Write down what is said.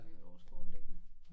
Vi har et årskort liggende